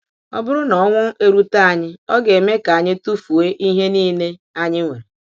Ọ bụrụ na ọnwụ erute anyị, ọ ga-eme ka anyị tụfuo ihe niile anyị nwere.